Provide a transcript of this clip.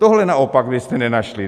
Tohle naopak byste nenašli.